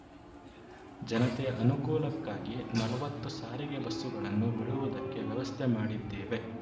ಜನತೆಯ ಅನುಕೂಲಕ್ಕಾಗಿ ನಲವತ್ತು ಸಾರಿಗೆ ಬಸ್ಸುಗಳನ್ನು ಬಿಡುವುದಕ್ಕೆ ವ್ಯವಸ್ಥೆ ಮಾಡಿದ್ದೇವೆ